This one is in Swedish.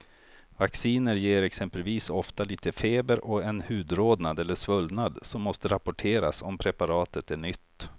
Vacciner ger exempelvis ofta lite feber och en hudrodnad eller svullnad som måste rapporteras om preparatet är nytt.